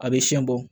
A bɛ siyɛn bɔ